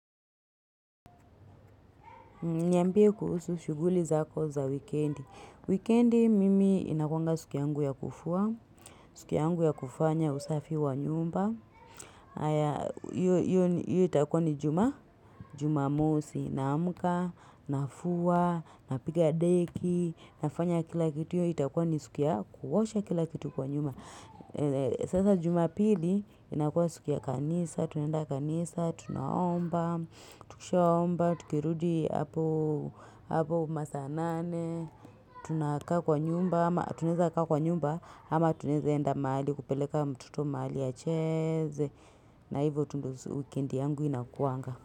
Niambie kuhusu shuguli zako za weekendi. Weekendi mimi inakwanga suku yangu ya kufua. Siku yangu ya kufanya usafi wa nyumba. Hio itakua ni jumamosi. Naamka, na fua, na piga deki. Na fanya kila kitu hiyo itakua ni suki ya kuosha kila kitu kwa nyumba. Sasa jumapili inakua suki ya kanisa. Tunenda kanisa, tunaomba. Tukishomba, tukirudi hapo masanane, tunaka kwa nyumba, ama tuneza kwa nyumba, ama tuneza enda maali kupeleka mtoto mahali ya cheze, na hivyo tu ndio weekend yangu inakuanga.